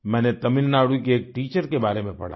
मैंने तमिलनाडु की एक टीचर के बारे में पढ़ा